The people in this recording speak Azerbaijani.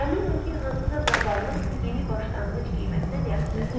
Əminəm ki, hansısa zavallı bu yeni başlanğıc qiymətinə reaksiya verəcək.